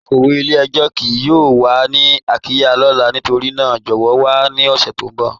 Akọwe ilẹ̀-ẹ̀jọ kíì yọọ wà ni ayika lọla nítorína jọwọ wà ni ọṣẹ ti n bọ.